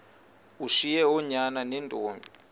ushiye oonyana neentombi